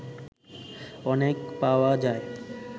অনেক পাওয়া যায়